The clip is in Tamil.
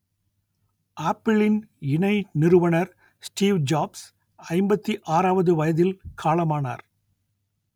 ஆப்பிளின் இணை நிறுவனர் ஸ்டீவ் ஜாப்ஸ் ஐம்பத்தி ஆறாவது வயதில் காலமானார்